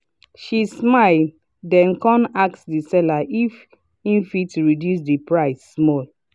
she smile then come ask the seller if e fit reduce the price small.